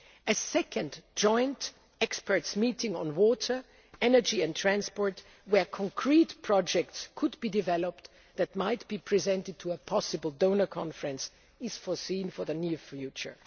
A second joint experts' meeting on water, energy and transport, where concrete projects could be developed that might be presented to a possible donor conference, is foreseen for the near